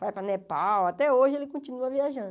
Vai para Nepal, até hoje ele continua viajando.